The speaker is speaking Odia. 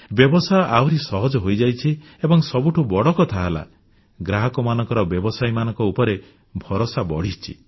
ବ୍ୟବସାୟ ଆହୁରି ସହଜ ହୋଇଯାଇଛି ଏବଂ ସବୁଠୁଁ ବଡ଼ କଥା ହେଲା ଗ୍ରାହକମାନଙ୍କର ବ୍ୟବସାୟୀମାନଙ୍କ ଉପରେ ଭରସା ବଢ଼ିଛି